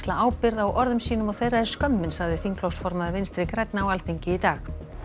ábyrgð á orðum sínum og þeirra er skömmin sagði þingflokksformaður Vinstri grænna á Alþingi í dag